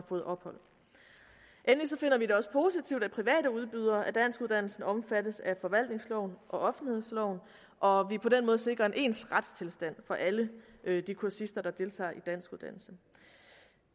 fået ophold endelig finder vi det også positivt at private udbydere af danskuddannelsen omfattes af forvaltningsloven og offentlighedsloven og vi på den måde sikrer en ens retstilstand for alle de kursister der deltager i danskuddannelsen